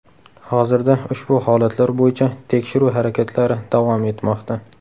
Hozirda ushbu holatlar bo‘yicha tekshiruv harakatlari davom etmoqda.